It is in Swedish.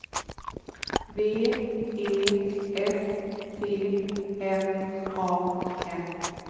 V E S T M A N